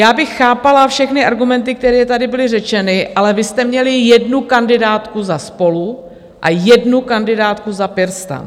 Já bych chápala všechny argumenty, které tady byly řečeny, ale vy jste měli jednu kandidátku za SPOLU a jednu kandidátku za PirSTAN.